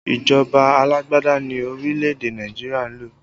Ìjọba alágbádá ni orílẹ̀ èdè Nàìjíríà ń lò